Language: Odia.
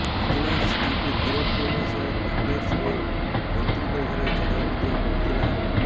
ଭିଜିଲାନ୍ସ ତାଙ୍କୁ ଗିରଫ କରିବା ସହ କ୍ୱାଟର୍ସ ଓ ପୈତୃକ ଘରେ ଚଢ଼ାଉ ମଧ୍ୟ କରିଥିଲା